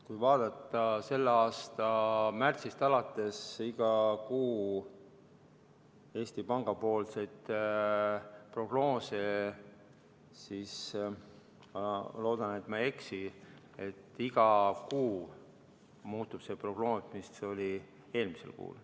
Kui vaadata selle aasta märtsist alates igakuiseid Eesti Panga prognoose, siis ma loodan, et ma ei eksi, öeldes, et iga kuu see prognoos muutub.